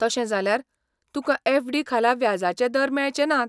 तशें जाल्यार, तुका एफडी खाला व्याजाचे दर मेळचे नात.